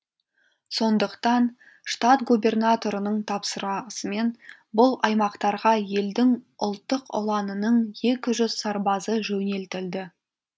сондықтан штат губернаторының тапсырасымен бұл аймақтарға елдің ұлттық ұланының екі жүз сарбазы жөнелтілді